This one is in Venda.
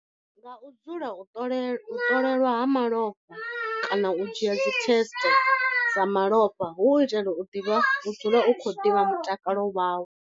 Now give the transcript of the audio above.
Nga u dzula u ṱolela u ṱolelwa ha malofha kana u dzhia dzi test dza malofha, hu u itela u ḓivha u dzula u kho ḓivha mutakalo wau.